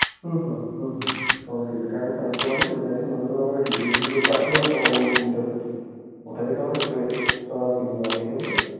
হম হম হম হম তুমি মনে করে আমাকে details গুলো পাঠিও আর ওই CV তা পাঠিও, ওটা যেটা মানে fresh, তোমার CV বানিয়ে দেব।